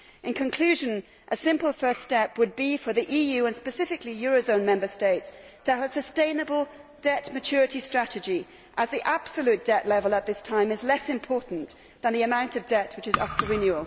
In conclusion, a simple first step would be for the EU, and specifically eurozone Member States, to have a sustainable debt maturity strategy as the absolute debt level at this time is less important than the amount of debt which is up for renewal.